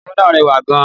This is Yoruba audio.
Ìyàwó náà rẹwà gan-an.